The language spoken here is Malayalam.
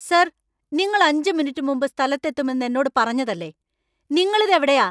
സർ, നിങ്ങൾ അഞ്ച് മിനിറ്റ് മുമ്പ് സ്ഥലത്തു എത്തുമെന്ന് എന്നോട് പറഞ്ഞതല്ലേ . നിങ്ങൾ ഇത് എവിടെയാ?